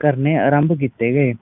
ਕਰਨੇ ਆਰੰਭ ਕੀਤੇ ਗਏ